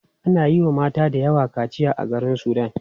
Ana yiwa mata dayawa kaciya a garin sudan.